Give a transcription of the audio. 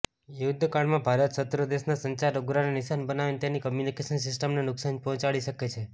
યુદ્ધકાળમાં ભારત શત્રુદેશના સંચાર ઉપગ્રહને નિશાન બનાવીને તેની કમ્યુનિકેશન સિસ્ટમને નુકસાન પહોંચાડી શકે છે